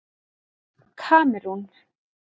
Kamerún